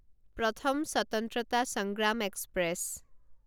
প্ৰথম স্বতন্ত্ৰতা সংগ্ৰাম এক্সপ্ৰেছ